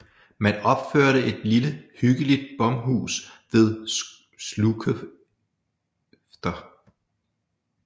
Man opførte et lille hyggeligt bomhus ved Slukefter